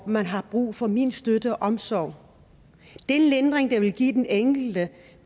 at man har brug for min støtte og omsorg den lindring det vil give den enkelte